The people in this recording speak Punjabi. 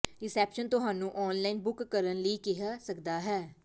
ਰਿਸੈਪਸ਼ਨ ਤੁਹਾਨੂੰ ਆਨਲਾਈਨ ਬੁੱਕ ਕਰਨ ਲਈ ਕਹਿ ਸਕਦਾ ਹੈ